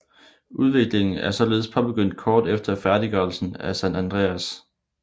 Udviklingen er således påbegyndt kort efter færdiggørelsen af San Andreas